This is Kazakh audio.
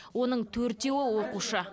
оның төртеуі оқушы